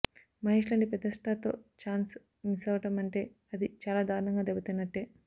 మహేష్లాంటి పెద్ద స్టార్తో chance miss అవడం అంటే అది చాలా దారుణంగా దెబ్బతిన్నట్టే